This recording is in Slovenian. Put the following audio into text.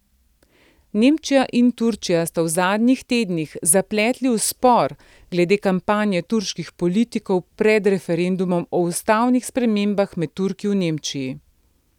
Nemčija in Turčija sta se v zadnjih tednih zapletli v spor glede kampanje turških politikov pred referendumom o ustavnih spremembah med Turki v Nemčiji.